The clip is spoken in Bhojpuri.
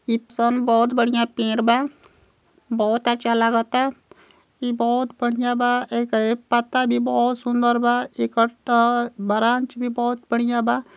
इप्सन बहोत बढ़िया पेड़ बा बहोत अच्छा लागता। ई बहोत बढ़िया बा एकर पत्ता भी बहोत सुन्दर बा एकर त ब्रांच भी बहोत